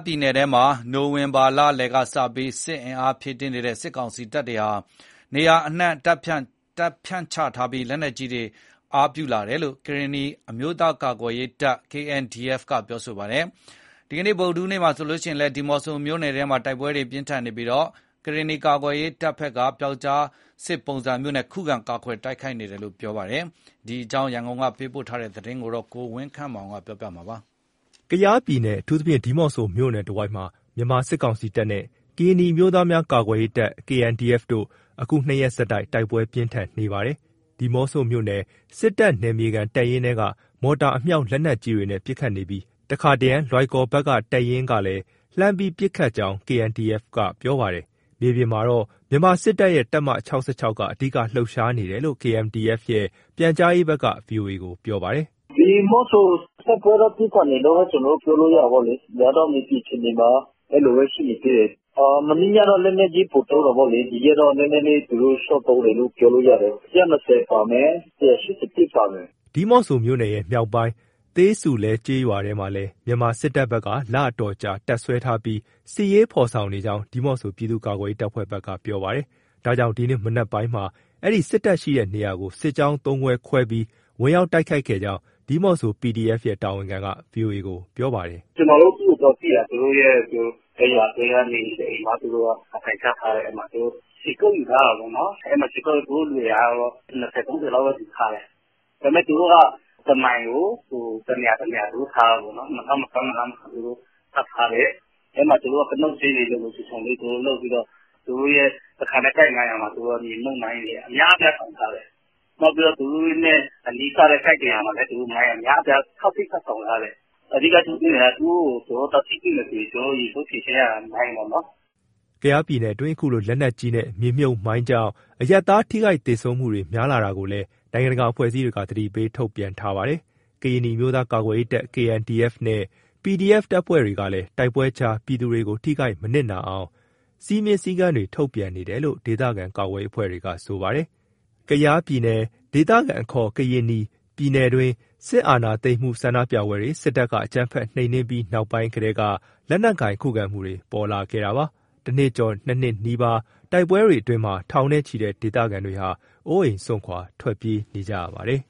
ပြည်နယ်ထဲမှာ နိုဝင်ဘာလလယ်ကစပြီး စစ်အင်အားဖြည့်နေတဲ့ စစ်ကောင်စီတပ်တွေဟာ နေရာအနှံ့ တပ်ဖြန့်ချထားပြီး လက်နက်ကြီးတွေကို အားပြုသုံးစွဲလာတယ်လို့ ကရင်နီအမျိုးသားကာကွယ်ရေးတပ် KNDF က ပြောပါတယ်။ ဒီနေ့ ဗုဒ္ဓဟူးနေ့မှာလည်း ဒီးမော့ဆိုမြို့နယ်ထဲမှာ တိုက်ပွဲပြင်းထန်နေတာမှာ ကရင်ကာကွယ်ရေးတပ်ဘက်က ပြောက်ကျားစစ်ပုံစံနဲ့ ခုခံတိုက်ခိုက်နေရတယ်လို့ ပြောပါတယ်။ ဒီအကြောင်း ရန်ကုန်က ပေးပို့တဲ့သတင်းကို ကိုဝင်းခန့်မောင်က တင်ပြပေးထားပါတယ်။ ကယားပြည်နယ်၊ အထူးသဖြင့် ဒီးမော့ဆို မြို့နယ်တဝိုက်မှာ မြန်မာစစ်ကောင်စီတပ်နဲ့ ကရင်နီ အမျိုးသားများ ကာကွယ်ရေးတပ် KNDF တို့ အခု နှစ်ရက်ဆက်တိုက် တိုက်ပွဲပြင်းထန်နေပါတယ်။ ဒီးမော့ဆိုမြို့နယ် စစ်တပ်နယ်မြေခံတပ်ရင်းထဲကနေ မော်တာအမြောက် လက်နက်ကြီးတွေနဲ့ပစ်ခတ်နေပြီး တခါတရံ လွိုင်ကော်ဘက်က တပ်ရင်းဘက်ကလည်း လှမ်းပြီးပစ်ခတ်ကြောင်း KNDF ဘက်ကပြောပါတယ်။ မြေပြင်မှာတော့ မြန်မာစစ်တပ်ရဲ့တပ်မ က အဓိကလှုပ်ရှားနေတယ်လို့ KNDF ရဲ့ ပြန်ကြားရေးဘက်က ဗွီအိုအေကို ပြောပါတယ်။ " ဒီးမော့ဆို အလယ်ဗဟိုလောက်ကျမယ်။ တိုက်ပွဲတော့ ပြင်းထန်နေတယ်လို့ ကျနော်တို့ပြောလို့ရတယ်။ မြေပြင်အခြေအနေမှာက အဲလိုပဲ ရှိနေသေးတယ်။ မနေ့ညကတော့ လက်နက်ကြီး ပိုသုံးတာပေါ့လေ၊ ဒီရက်တော့ သူတို့နည်းနည်း လျှော့သုံးတယ်လို့ ပြောလို့ရတယ်။ ၁၂၀ ပါမယ်၊ ၁၈၁ ပါမယ်။" ဒီးမော့ဆိုမြို့နယ်ရဲ့ မြောက်ပိုင်း သေးဆူလဲကျေးရွာထဲမှာလည်း မြန်မာစစ်တပ်ဘက်က လအတော်ကြာ တပ်စွဲထားပြီး စစ်ရေးဖော်ဆောင်နေကြောင်း ဒီးမော့ဆို ပြည်သူ့ကာကွယ်ရေး တပ်ဖွဲ့ဘက်က ပြောပါတယ်။ ဒါကြောင့် ဒီနေ့မနက်ပိုင်းမှာ အဲဒီစစ်တပ်ရှိတဲ့နေရာကို စစ်ကြောင်းသုံးခုခွဲပြီး ဝင်ရောက်တိုက်ခိုက်ခဲ့ကြောင်း ဒီးမော့ဆို PDF ရဲ့ တာဝန်ခံက ဗွီအိုအေကို ပြောပါတယ်။ "ကျနော်တို့ သူ့ကိုသွားပစ်တာ။ အဲရွာထဲက နေအိမ်တအိမ်မှာ သူတို့အထိုင်ချထားတယ်။ သူတို့ခြေကုပ်ယူထားတာပေါ့နော်။ ရှေ့တန်းမျက်နှာစာလေး တနေရာလောက်မှာ ရွာထဲ နေအိမ်တနေရာမှာ ခြေကုပ်ယူပြီး သူတို့ ၂၀၊ ၃-၄၀ လောက်ယူထားတယ်။ ဒါပေမဲ့ သူတို့က တမိုင်ကိုတနေရာ ထားတာပေါ့နော်။ အဲဒီမှာ ကတုပ် ကျင်းတွေလုပ်ပြီး သူတို့စခန်းရဲ့ ကိုက် ၅၀၀ မှာ မြေမြှုပ်မိုင်းတွေ အများအပြား ထောင်ထားတယ်။ သူတို့နဲ့နီးကပ်တဲ့ ကိုက် ၁၀၀ မှာလည်း မိုင်းအများအပြား ထပ်ထောင်ထားတယ်။ ကျနော်တို့ အဓိက ကြုံတွေ့နေရတာက သူတို့ကို သွားထိတွေ့မယ်ဆို ကျနော်တို့ အရင်ဆုံး ဖြေရှင်းနေရတာက မိုင်းပေါ့နော်။" ကယားပြည်နယ်အတွင်း အခုလို လက်နက်ကြီးနဲ့ မြေမြှုပ်မိုင်းကြောင့် အရပ်သား ထိခိုက်သေဆုံးမှုတွေများလာတာကိုလည်း နိုင်ငံတကာအဖွဲ့အစည်းတွေက သတိပေး ထုတ်ပြန်ထားပါတယ်။ ကရင်နီအမျိုးသားကာကွယ်ရေးတပ် KNDF နဲ့ PDF တပ်ဖွဲ့တွေကလည်း တိုက်ပွဲကြားမှာ ပြည်သူတွေ မထိခိုက်မနစ်နာအောင် စည်းမျဉ်းစည်ကမ်းတွေ ထုတ်ပြန်နေတယ်လို့ ဒေသခံကာကွယ်ရေးအဖွဲ့တွေက ပြောပါတယ်။ ကယားပြည်နယ် ဒေသခံအခေါ် ကရင်နီပြည်နယ်တွင်း စစ်အာဏာသိမ်းဆန္ဒပြမှုတွေကို စစ်တပ်ကအကြမ်းဖက်နှိမ်နင်းပြီးနောက်ပိုင်းကတည်းက လက်နက်ကိုင် ခုခံမှုတွေပေါ်လာခဲ့တာပါ။ တနှစ်ကျော် နှစ်နှစ်နီးပါး တိုက်ပွဲတွေအတွင်း ထောင်နဲ့ချီတဲ့ဒေသခံတွေဟာ အိုးအိမ်စွန့်ခွာပြေးနေကြရပါတယ်